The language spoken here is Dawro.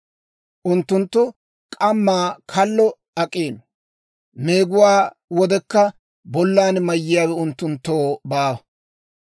Unttunttu k'ammaa kallo ak'iino; meeguwaa wodekka bollan mayiyaawe unttunttoo baawa.